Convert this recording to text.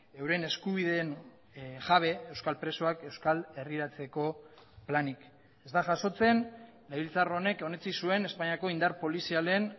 euren eskubideen jabe euskal presoak euskal herriratzeko planik ez da jasotzen legebiltzar honek onetsi zuen espainiako indar polizialen